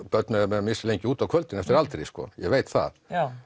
börn mega vera mislengi út á kvöldin eftir aldri ég veit það